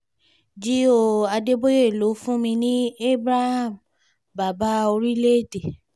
g ó adébòye ló fún mi ní abraham bàbá orílẹ̀‐èdè